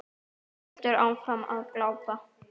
Hún heldur áfram að glápa.